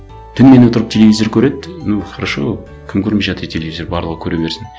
түнімен отырып телевизор көреді ну хорошо кім көрмей жатыр телевизор барлығы көре берсін